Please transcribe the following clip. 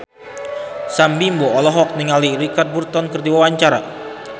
Sam Bimbo olohok ningali Richard Burton keur diwawancara